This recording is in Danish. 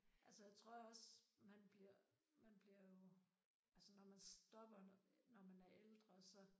Altså tror jeg også man bliver man bliver jo altså når man stopper når man er ældre så